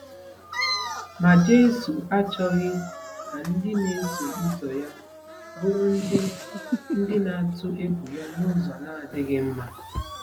Ma Jesu achọghị ka ndị na-eso ụzọ ya bụrụ ndị ndị na-atụ egwu ya n’ụzọ na-adịghị mma.